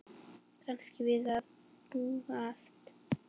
Kannski við að búast.